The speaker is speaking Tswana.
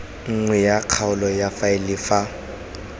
nngwe ya kgaolo faele fa